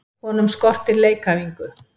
Honum skortir leikæfingu.